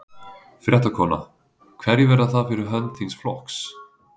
Fréttakona: Hverjir verða það fyrir hönd þíns flokks?